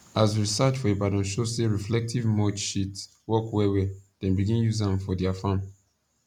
as research for ibadan show say reflective mulch sheet work well well dem begin use am for their farm